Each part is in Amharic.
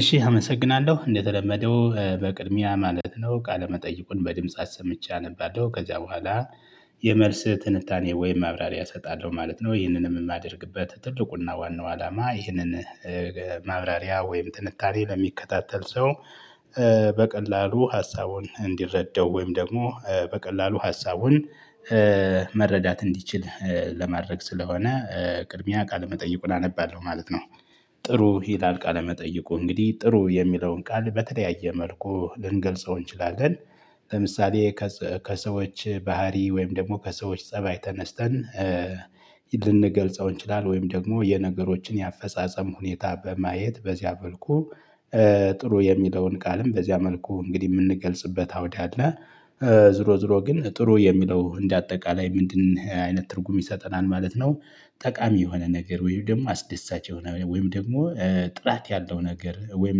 እሺ አመሰግናለሁ እንደተለመደው በቅድሚያ ማለት ነው ቃለመጠይቁን በድምጽ አሰምቼ አነባለሁ ከዚያ በኋላ። የመልስ ትንታኔ ወይም ማብራሪያ እሰጣለሁ ማለት ነው። ይህንንም የማደርግበት ትልቁና ዋናው አላማ ይህንን ማብራሪያ ወይም ትንታኔ ለሚከታተል ሰው። በቀላሉ ሀሳቡን እንዲረደው ወይም ደግሞ በቀላሉ ሀሳቡን መረዳት እንዲችል ለማድረግ ስለሆነ። ቅድሚያ ቃል መጠይቁን አነባለሁ ማለት ነው። ጥሩ ይላል ቃል መጠይቁ እንግዲህ ጥሩ የሚለውን ቃል በተለያየ መልኩ ልንገልጸው እንችላለን። ለምሳሌ ከሰዎች ባህሪ ወይም ደግሞ ከሰዎች ፀባይ ተነስተን ልንገልጸው እንችላለን። ወይም ደግሞ የነገሮችን የአፈጻጸም ሁኔታ በማየት በዚያ መልኩ ጥሩ የሚለውን ቃልም በዚያ መልኩ እንግዲህ የምንገልጽበት አውድ አለ። ዞሮ ዘሮ ግን ጥሩ የሚለው እንደ አጠቃላይ ምንድን አይነት ትርጉም ይሰጠናል ማለት ነው። ጠቃሚ የሆነ ነገር ወይም ደግሞ አስደሳች የሆነ ወይም ደግሞ ጥራት ያለው ነገር ወይም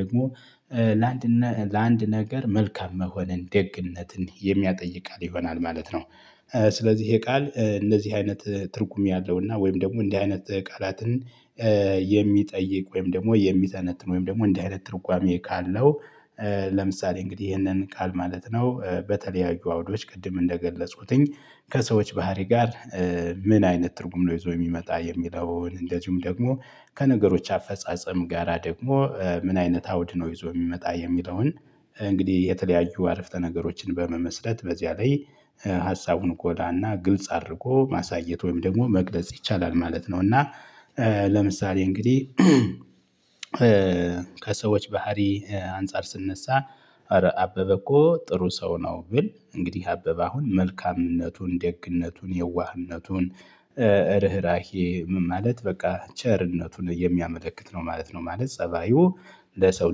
ደግሞ ለአንድ ለአንድ ነገር መልካም መሆንን ደግነትን የሚያጠይቃል ይሆናል ማለት ነው። ስለዚህ ይሄ ቃል እንደዚህ አይነት ትርጉም ያለውና ወይም ደግሞ እንዲህ አይነት ቃላትን የሚጠይቅ ወይም ደግሞ የሚተነትን ወይም ደግሞ እንዲህ አይነት ትርጓሜ ካለው። ለምሳሌ እንግዲህ ይህንን ቃል ማለት ነው በተለያዩ አውዶች ቅድም እንደገለጽኩትኝ ከሰዎች ባህሪ ጋር? ምን አይነት ትርጉም ነው ይዞ የሚመጣ የሚለውን እንደዚሁም ደግሞ። ከነገሮች አፈጻጸም ጋራ ደግሞ ምን አይነት አውድ ነው ይዞ የሚመጣ የሚለውን? እንግዲህ የተለያዩ አረፍተ ነገሮችን በመመስረት በዚያ ላይ ሀሳቡን ጎላና ግልጽ አድርጎ ማሳየት ወይም ደግሞ መግለጽ ይቻላል ማለት ነው። እና ለምሳሌ እንግዲህ ከሰዎች ባህሪ አንፃር ስንነሳ። አበበ እኮ ጥሩ ሰው ነው ግን እንግዲህ አበበ አሁን መልካምነቱን ደግነቱን የዋህነቱን። እርህራሄ ምን ማለት በቃ ቸርነቱን የሚያመለክት ነው ማለት ነው ማለት ፀባዩ ለሰው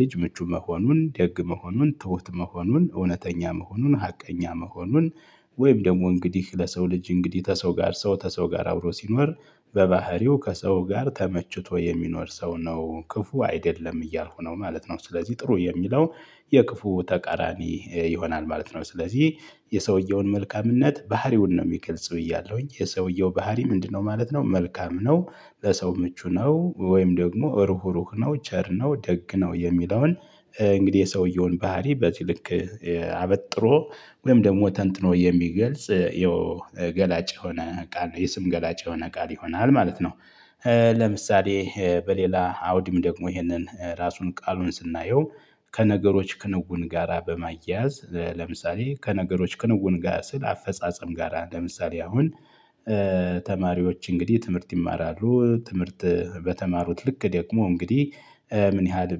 ልጅ ምቹ መሆኑን ደግ መሆኑን ትሁት መሆኑን እውነተኛ መሆኑን ሀቀኛ መሆኑን። ወይም ደግሞ እንግዲህ ለሰው ልጅ እንግዲህ ከሰው ጋር ሰው ከሰው ጋር አብሮ ሲኖር። በባህሪው ከሰው ጋር ተመችቶ የሚኖር ሰው ነው ክፉ አይደለም እያልኩ ነው ማለት ነው። ስለዚህ ጥሩ የሚለው የክፉ ተቃራኒ ይሆናል ማለት ነው። ስለዚህ የሰውየውን መልካምነት ባህሪውን ነው የሚገልጽ ብያለሁኝ የሰውየው ባህሪ ምንድነው ማለት ነው መልካም ነው። ለሰው ምቹ ነው ወይም ደግሞ ርሁሩህ ነው ቸር ነው ደግ ነው የሚለውን። እንግዲህ የሰውየውን ባህሪ በዚህ ልክ አበጥሮ ወይም ደግሞ ተንትኖ የሚገልጽ። ገላጭ የሆነ ቃል ነው የስም ገላጭ የሆነ ቃል ይሆናል ማለት ነው። ለምሳሌ በሌላ አውድም ደግሞ ይሄንን ራሱን ቃሉን ስናየው። ከነገሮች ክንውን ጋራ በማያያዝ ለምሳሌ ከነገሮች ክንውን ጋር ስል አፈጻጸም ጋራ ለምሳሌ አሁን ተማሪዎች እንግዲህ ትምህርት ይማራሉ ትምህርት በተማሩት ልክ ደክሞ እንግዲህ ምን ያህል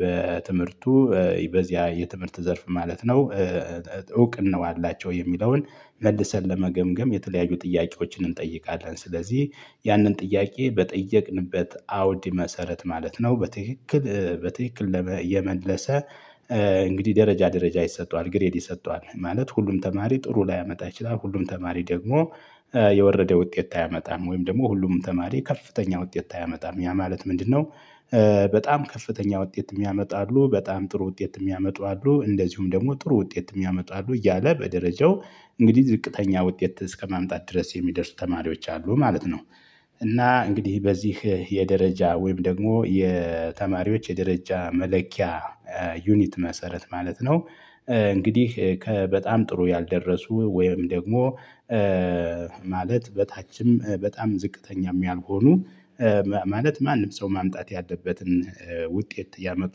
በትምህርቱ በዚያ የትምህርት ዘርፍ ማለት ነው። እውቅናው አላቸው የሚለውን መልሰን ለመገምገም የተለያዩ ጥያቄዎችን እንጠይቃለን። ስለዚህ ያንን ጥያቄ በጠየቅንበት አውድ መሰረት ማለት ነው በትክክል በትክክል የመለሰ። እንግዲህ ደረጃ ደረጃ ይሰጠዋል ግሬድ ይሰጠዋል ማለት ሁሉም ተማሪ ጥሩ ላያመጣ ይችላል ሁሉም ተማሪ ደግሞ። የወረደ ውጤት አያመጣም ወይም ደግሞ ሁሉም ተማሪ ከፍተኛ ውጤት አያመጣም ያ ማለት ምንድነው? በጣም ከፍተኛ ውጤት የሚያመጣ አሉ በጣም ጥሩ ውጤት የሚያመጡ አሉ እንደዚሁም ደግሞ ጥሩ ውጤት የሚያመጡ አሉ እያለ በደረጃው እንግዲህ ዝቅተኛ ውጤት እስከማምጣት ድረስ የሚደርሱ ተማሪዎች አሉ ማለት ነው። እና እንግዲህ በዚህ የደረጃ ወይም ደግሞ የተማሪዎች የደረጃ መለኪያ ዩኒት መሰረት ማለት ነው። እንግዲህ ከበጣም ጥሩ ያልደረሱ ወይም ደግሞ ማለት በታችም በጣም ዝቅተኛም ያልሆኑ። ማለት ማንም ሰው ማምጣት ያለበትን ውጤት ያመጡ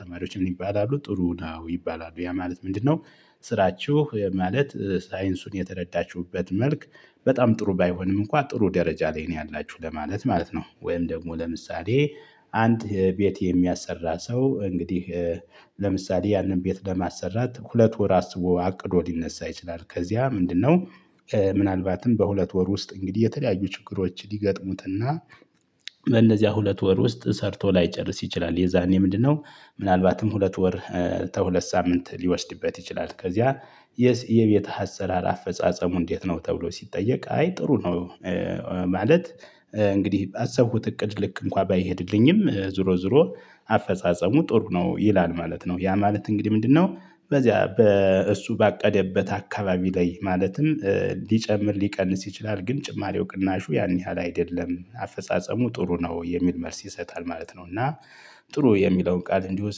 ተማሪዎች ምን ይባላሉ ጥሩ ነው ይባላሉ ያ ማለት ምንድነው? ስራችሁ ማለት ሳይንሱን የተረዳችሁበት መልክ በጣም ጥሩ ባይሆንም እንኳን ጥሩ ደረጃ ላይ ነው ያላችሁ ለማለት ማለት ነው። ወይም ደግሞ ለምሳሌ አንድ ቤት የሚያሰራ ሰው እንግዲህ። ለምሳሌ ያንን ቤት ለማሰራት ሁለት ወር አስቦ አቅዶ ሊነሳ ይችላል ከዚያ ምንድነው? ምናልባትም በሁለት ወር ውስጥ እንግዲህ የተለያዩ ችግሮች ሊገጥሙትና እነዚያ ሁለት ወር ውስጥ ሰርቶ ላይጨርስ ይችላል። የዛኔ ምንድነው? ምናልባትም ሁለት ወር ከሁለት ሳምንት ሊወስድበት ይችላል ከዚያ የዚህ የቤት አሰራር አፈጻጸሙ እንዴት ነው ተብሎ ሲጠየቅ አይ ጥሩ ነው። ማለት እንግዲህ ባሰብኩት እቅድ ልክ እንኳን ባይሄድልኝም ዞሮ ዞሮ አፈጻጸሙ ጥሩ ነው ይላል ማለት ነው። ያ ማለት እንግዲህ ምንድነው? በዚያ በእሱ ባቀደበት አካባቢ ላይ ማለትም ሊጨምር ሊቀነሰስ ይችላል ግን ጭማሪው ቅናሹ ያን ያህል አይደለም አፈጻጸሙ ጥሩ ነው የሚል መልስ ይሰጣል ማለት ነው። እና ጥሩ የሚለውን ቃል እንዲሁ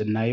ስናየው